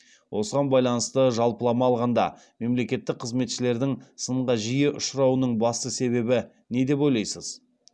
осыған байланысты жалпылама алғанда мемлекеттік қызметшілердің сынға жиі ұшырауының басты себебі не деп ойлайсыз